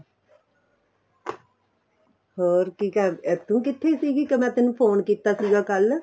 ਹੋਰ ਕੀ ਕਰਦੇ ਤੂੰ ਕਿੱਥੇ ਸੀਗੀ ਕੇ ਮੈਂ ਤੈਨੂੰ phone ਕੀਤਾ ਸੀਗਾ ਕੱਲ